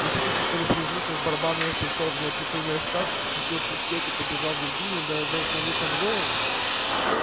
вы хотите чтобы при звуках барабана я пришёл в неописуемый экстаз схватил мушкет и побежал в виргинию дабы сложить там голову